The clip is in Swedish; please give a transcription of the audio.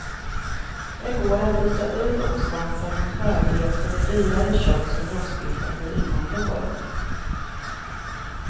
Det går att byta ut oxsvansen mot högrev eller dyrare kött som rostbiff eller innanlår.